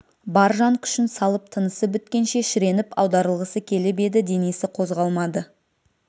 бар жан күшін салып тынысы біткенше шіреніп аударылғысы келіп еді денесі қозғалмады